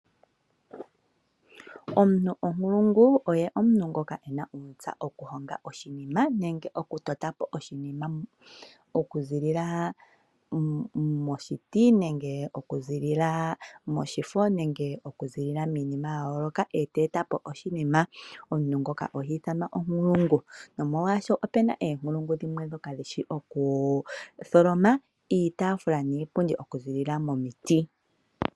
Omuntu onkulungu oye ngoka ta vulu oku totapo oshinima okuza moshiti, moshifo nenge miinima ya yooloka omuntu ngono ohiithanwa onkulungu. Opuna onkulungu dhimwe dhoka hadhi vulu okweetapo iipundi niitaafula okuza miiti.